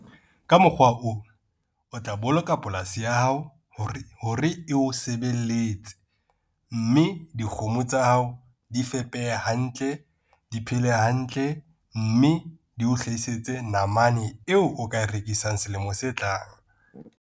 Ka mokgwa ona, o tla boloka polasi ya hao hore e o sebeletse, mme dikgomo tsa hao di fepehe hantle, di phele hantle, mme di o hlahisetse namane eo o ka e rekisang selemong se tlang.